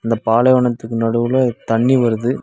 இந்த பாலைவனத்துக்கு நடுவுல தண்ணி வருது.